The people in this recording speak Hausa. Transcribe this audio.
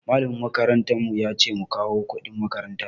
Malamin makarantar mu yace mu kawo kuɗin makaranta.